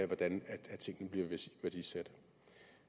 hvordan tingene bliver værdisat